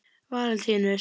Valentínus